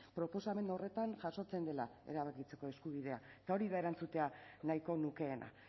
proposamen horretan jasotzen dela erabakitzeko eskubidea eta hori da erantzutea nahiko nukeena